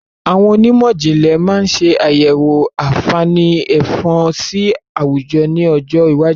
Àwọn onímọ̀jìnlẹ̀ máa ṣe àyẹ̀wọ̀ àǹfààní Ẹ̀fọ̀n sì àwùjọ ni ọjọ́ iwájú